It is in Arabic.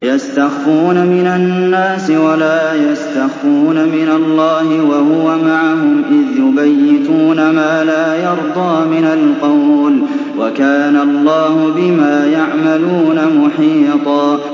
يَسْتَخْفُونَ مِنَ النَّاسِ وَلَا يَسْتَخْفُونَ مِنَ اللَّهِ وَهُوَ مَعَهُمْ إِذْ يُبَيِّتُونَ مَا لَا يَرْضَىٰ مِنَ الْقَوْلِ ۚ وَكَانَ اللَّهُ بِمَا يَعْمَلُونَ مُحِيطًا